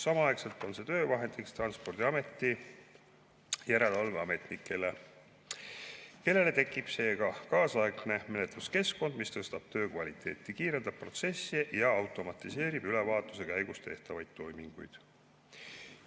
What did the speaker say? Samaaegselt on see töövahendiks Transpordiameti järelevalveametnikele, kellel tekib seega kaasaegne menetluskeskkond, mis tõstab töö kvaliteeti, kiirendab protsesse ja automatiseerib ülevaatuse käigus tehtavaid toiminguid.